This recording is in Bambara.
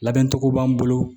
Labɛncogo b'an bolo